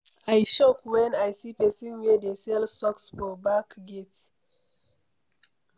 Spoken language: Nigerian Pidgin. I shock wen I see person wey dey sell socks for back gate.